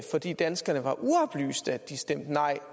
fordi danskerne var uoplyste at de stemte nej